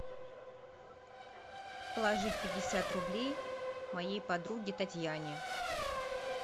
положить пятьдесят рублей моей подруге татьяне